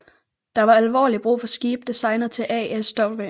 Der var alvorligt brug for skibe designet til ASW